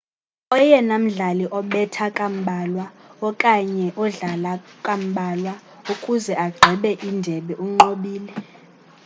oyena mdlali obetha kambalwa okanye odlale kambalwa ukuze agqibe indebe unqobile